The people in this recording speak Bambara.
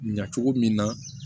Ɲa cogo min na